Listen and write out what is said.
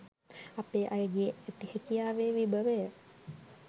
අපේ අයගේ ඇති හැකියාවේ විභවය